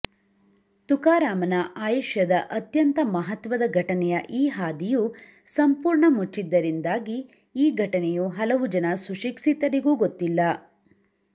ತುಕಾರಾಮನ ಆಯುಷ್ಯದ ಅತ್ಯಂತ ಮಹತ್ವದ ಘಟನೆಯ ಈ ಹಾದಿಯು ಸಂಪೂರ್ಣ ಮುಚ್ಚಿದ್ದರಿಂದಾಗಿ ಈ ಘಟನೆಯು ಹಲವು ಜನ ಸುಶಿಕ್ಷಿತರಿಗೂ ಗೊತ್ತಿಲ್ಲ